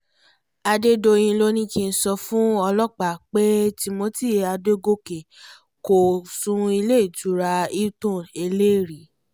adédọ̀yìn ló ní kí n sọ fún ọlọ́pàá pé timothy adọ́gọ́kẹ́ kò sùn sílé ìtura hilton ẹlẹ́rìí